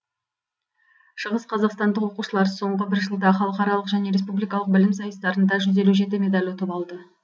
шығысқазақстандық оқушылар соңғы бір жылда халықаралық және республикалық білім сайыстарында жүз елу жеті медаль ұтып алды